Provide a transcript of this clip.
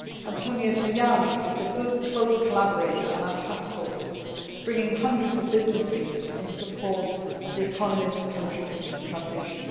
Antonio Tajani is a good close collaborator on our taskforces, bringing hundreds of business leaders in support of the economies of countries in transition.